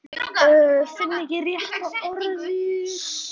Finn ekki rétta orðið.